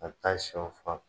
A bɛ taa sɛw faa